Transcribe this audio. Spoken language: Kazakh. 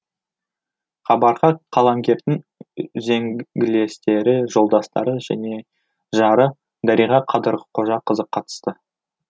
хабарға қаламгердің үзеңгілестері жолдастары және жары дариға қадырқожақызы қатысты